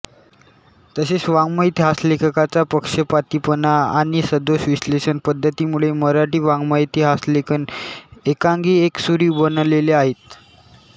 तसेच वाड्मयेतिहासलेखकाचा पक्षपातीपणा आणि सदोष विश्लेषण पद्धतीमुळेही मराठी वाड्मयेतिहासलेखन एकांगीएकसुरी बनलेले आहेत